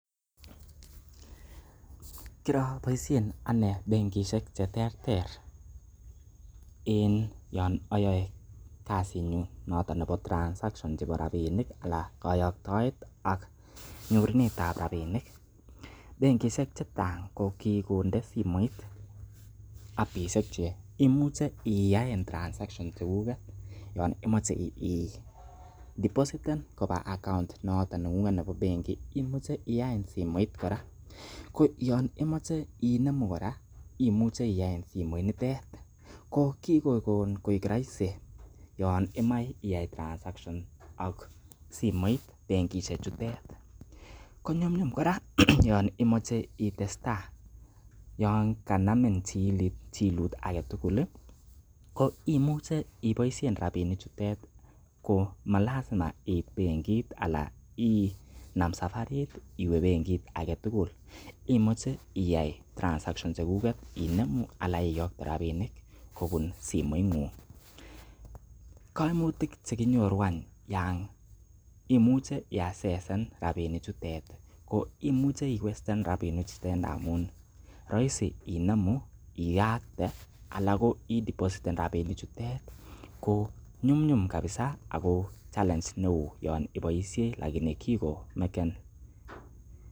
Kiroboishen ane benkishek che terter en yon oyoe kasinyun noto nebo transactions chebo rabinik anan koyoktoet ak nyorunet ab rabinik, benkishek che chang kokigonde simoit appishek che imuche iyaen transactions rabishek chekuget yon imoche idepositen koba account noto neng'ung'et nebo benkit. Imuche iyaen simoit kora ko yon imoche inemu kora, imuche iyaen simoinitet ko kigokon koik roisi yon imoe iyai transactions ak benkishek chutet konyumnyum kora yon imoche itestai yon kanmin chilut age tugul koimuche iboisien rabinik chutet ko malazima iit bengit anan inam safarit iwe benkit age tugul imuche iyai transactions age tugul che kuget inemu anan iyokte rabinik kobun simoing'ung koimutik ch ekinyoru any, yonimuche iaccessen rabinchutet ko imuche iwasten rabinik chutet ndamun roisi inemu iyakte anan ko ideposten rabinik chutet ko nyumnyum kabisa ago challenge neo yon iboisie lakini kigomaken...